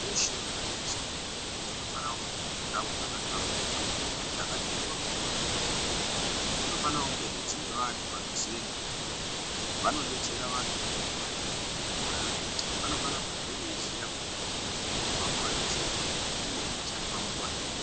Dzeshe dzinotengeswe mutombo dzinofanonge dziro ndau dzakahlamburika dzakati mhoryo dzinooneka dzinofanongehe dzine vantu vanoziya ngezvemutombo vanodetsera vantu vanenge vauya kotenge mutombo vaya vaya vanofane kubve veiziya juti mutombo uyu unomwiwa wakawanda sei uye unoshandiswa nguwai nenguwai.